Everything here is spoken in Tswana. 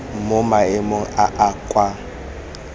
mo maemong a a kwa